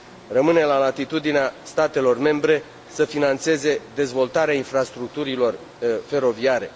Rămâne la latitudinea statelor membre să finanțeze dezvoltarea infrastructurilor feroviare.